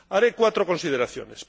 Haré cuatro consideraciones.